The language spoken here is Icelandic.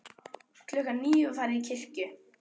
Klukkan níu var svo farið til kirkju.